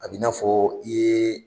A bina fɔ i ye